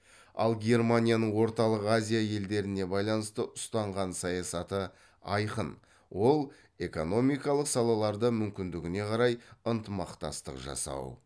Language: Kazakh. ал германияның орталық азия елдеріне байланысты ұстанған саясаты айқын ол экономикалық салаларда мүмкіндігіне қарай ынтымақтастық жасау